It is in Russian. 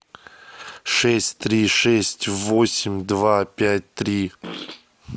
шесть три шесть восемь два пять три